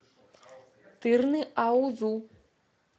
тырныаузу